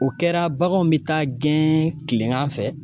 O kɛra baganw bɛ taa gɛn kilengan fɛ.